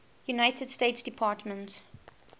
united states department